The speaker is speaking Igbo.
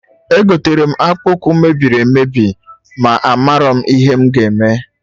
Egotere m akpụkpụ ụkwụ mebiri emebi,a marọ m ihe m ga eme